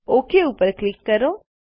okay ઉપર click કરો